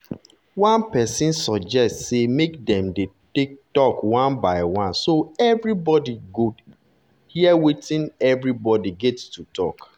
one person suggest say make dem dey talk one by one so everybody go hear wetin everybody get to talk